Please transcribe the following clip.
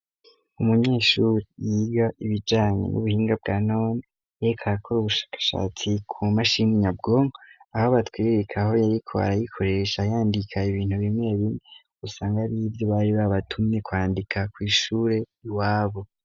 umunyeshuri yiga ibijanye n'ubuhinga bwa non ek ayakora ubushakashatsi ku mashini nyabwong aho batwiririka aho yari ko arayikoresha yandika ibintu bimeye bime usanga ribyo bari babatumye kwandika ku ishure iwabu